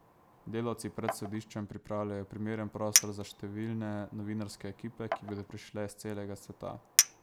Delavci pred sodiščem pripravljajo primeren prostor za številne novinarske ekipe, ki bodo prišle s celega sveta.